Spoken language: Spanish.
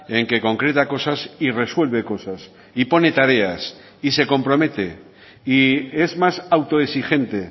en que concreta cosas y resuelve cosas y pone tareas y se compromete y es más autoexigente